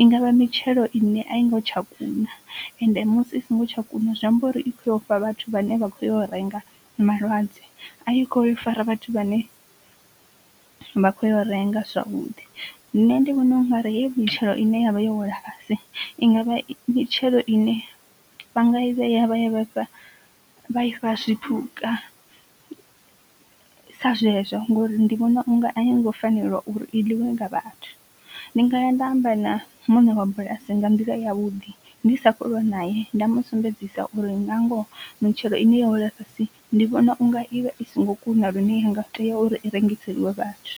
i ngavha mitshelo ine a i ngo tsha kuna ende musi i songo tsha kuna zwi amba uri i khoya u fha vhathu vhane vha khou yo renga malwadze. A i kho yo fara vhathu vha ne vha khou yo renga zwavhuḓi, nṋe ndi vhona u nga ri heyi mitshelo ine yavha yo wela fhasi i ngavha mitshelo ine vha nga i vhea vha ya vha i fha zwipuka sa zwezwo ngori ndi vhona unga a i ngo fanela uri i ḽiwe nga vhathu. Ndi ngaya nda amba na mune wa bulasi nyanga u fanelwa uri amba na muṋe wa bulasi nga nḓila ya vhuḓi ndi sa kho ulwa nae nda musumbedzisa uri na ngoho mitshelo ine yo wela fhasi ndi vhona unga ivha i songo kuna lune inga tea uri i rengiseliwe vhathu.